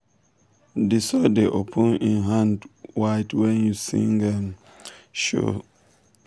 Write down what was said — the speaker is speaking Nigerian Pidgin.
the soil dey open im hand wide when you sing um show am say mind da sweet um you